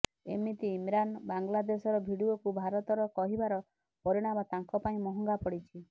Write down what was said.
ଏମିତି ଇମ୍ରାନ୍ ବାଂଲାଦେଶର ଭିଡିଓକୁ ଭାରତର କହିବାର ପରିଣାମ ତାଙ୍କ ପାଇଁ ମହଙ୍ଗା ପଡିଛି